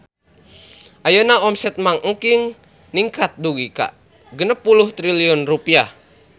Ayeuna omset Mang Engking ningkat dugi ka 60 triliun rupiah